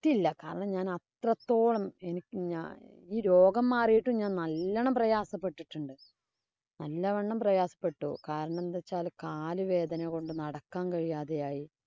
~യില്ല. കാരണം ഞാന്‍ അത്രത്തോളം എനിക്ക് ഞാ ഈ രോഗം മാറിയിട്ടും ഞാന്‍ നല്ലോണം പ്രയാസപ്പെട്ടിട്ടുണ്ട്. നല്ല വണ്ണം പ്രയാസപ്പെട്ടു. കാരണം എന്തു വച്ചാല് കാലുവേദന കൊണ്ട് നടക്കാന്‍ കഴിയാതെയായി.